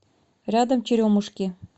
рядом черемушки